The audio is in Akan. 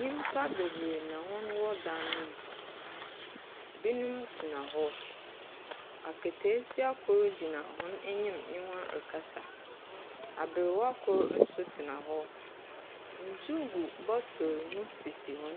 Nyimpa bebree na hɔn wɔ dan no mu. Binom tena hɔ ateteesia kor gyina hɔn enyim nye hɔ rekasa. Aberewa kor nso tena hɔ. Nsu gu bottle hɔ,